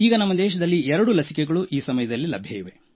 ನಮ್ಮ ದೇಶದಲ್ಲಿ ಎರಡು ಲಸಿಕೆಗಳು ಈ ಸಮಯದಲ್ಲಿ ಲಭ್ಯ ಇವೆ